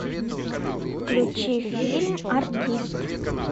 включи фильм артист